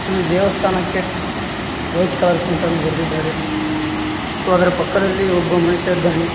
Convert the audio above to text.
ಇಲ್ಲಿ ದೇವಸ್ಥಾನಕ್ಕೆ white colour paint ಅನ್ನು ಹೊಡೆದಿದ್ದಾರೆ ಮತ್ತು ಅದರ ಪಕ್ಕದಲ್ಲಿ ಒಬ್ಬ ಮನುಷ್ಯ ಇದ್ದಾನೆ.